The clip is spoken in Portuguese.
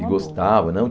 E gostava, não?